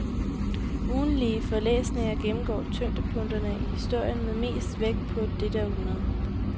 Ugentlige forelæsninger gennemgår tyngdepunkterne i historien med mest vægt på dette århundrede.